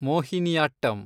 Mohiniyattam